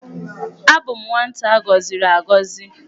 Abụ m nwata agọziri agọzi.